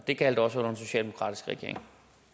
det gjaldt også under den socialdemokratiske regering